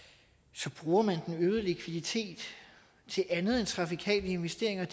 så bruger man den øgede likviditet til andet end trafikale investeringer